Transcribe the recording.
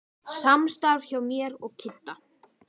Samstarf hjá mér og Kidda?